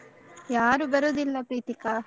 ಯಾರು ಬರುದಿಲ್ಲ ಪ್ರೀತಿಕಾ.